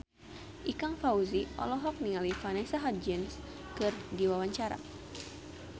Ikang Fawzi olohok ningali Vanessa Hudgens keur diwawancara